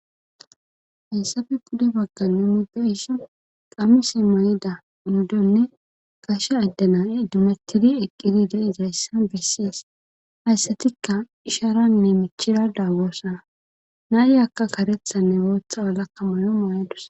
hayssafe gude bagganne mude ishi qamise may7ida inuddonne gashe addana7e dumetidi eqqidide izayssa bessies hayssatikka isharanne michira daagoosana naayi akka karethanne wootha walakka moyo maayadus